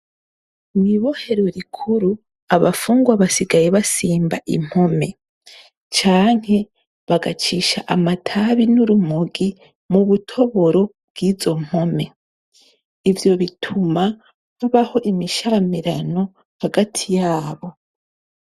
Mw'ibohero rikuru, abafungwa basigaye basimba impome canke bagacisha amatabi n'urumogi mu butoboro bw'izo mpome. Ivyo bituma habaho imisharamirano hagati yabo.